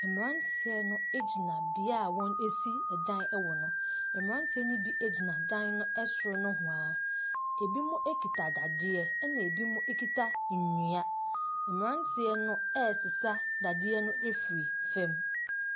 Mmranteɛ no gyina bea wɔn ɛsi ɛdan no ɛwɔ no. Mmranteɛ no ɛbi gyina ɛdan ɛoro nowhaa, ɛbinom ɛkita dadeɛ na ɛbinom kita ɛnua. Mmranteɛ no ɛɛsesa dadeɛ no afri fɛm.